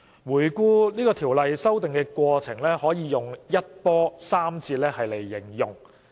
回顧修訂《僱傭條例》的過程，可以用"一波三折"來形容。